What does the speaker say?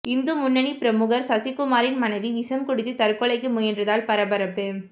இந்து முன்னணி பிரமுகர் சசிகுமாரின் மனைவி விஷம் குடித்து தற்கொலைக்கு முயன்றதால் பரபரப்பு